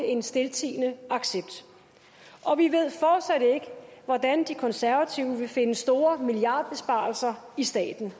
en stiltiende accept og vi ved fortsat ikke hvordan de konservative vil finde store milliardbesparelser i staten